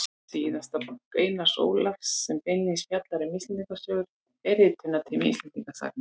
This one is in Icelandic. Síðasta bók Einars Ólafs sem beinlínis fjallar um Íslendingasögur er Ritunartími Íslendingasagna.